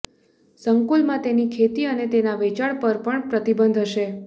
સંકુલમાં તેની ખેતી અને તેનાંં વેચાણ પર પણ પ્રતિબંધ હશે